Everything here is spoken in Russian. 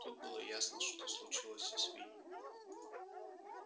тут было ясно что-то случилось со свиньями